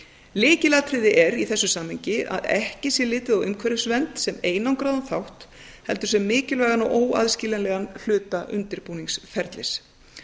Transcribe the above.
lykilatriði er í þessu samhengi að ekki sé litið á umhverfisvernd sem einangraðan þátt heldur sem mikilvægan og óaðskiljanlegan hluta undirbúningsferlis